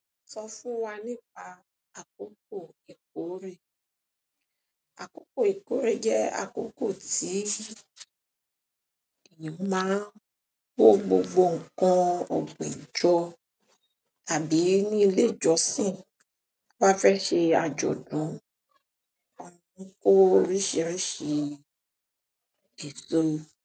Sọ fún wa nípa àkókò ìkórè. Àkókò ìkórè jẹ́ àkókò tí èèyàn ma ń kó gbogbo ǹkan ọ̀gbìn jọ. Àbí ní ilé ìjọsìn, wọ́n fẹ́ ṣe àjọ̀dún, a mí kó oríṣiríṣi èso.